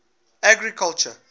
agriculture